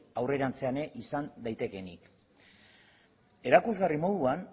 aurrerantzean ere izan daitekeenik erakusgarri moduan